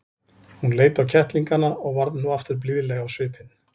Hún leit á kettlingana og varð nú aftur blíðleg á svipinn.